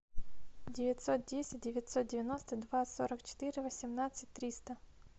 девятьсот десять девятьсот девяносто два сорок четыре восемнадцать триста